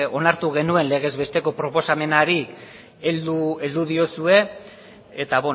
onartu genuen legez besteko proposamenari heldu diozue eta